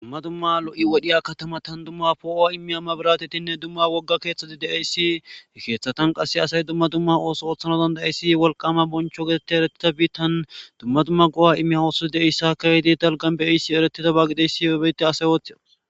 Dumma dumma lo'i wodhiya kataman dumma dumma maburatetinne dumma wogga keeththati he keeththatankka qasse asay dumma dumma ooso oththana danada'izayssi wolqama bonchcho geetetti eretida biittan dumma dumma go'a immiya oosoti de'iyayssa keehidi dalggan be'iyayssi eeretidaba giyays beyssa ase ooththides.